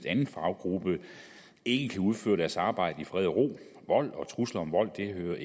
anden faggruppe ikke kan udføre deres arbejde i fred og ro vold og trusler om vold hører